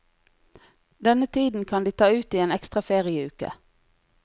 Denne tiden kan de ta ut i en ekstra ferieuke.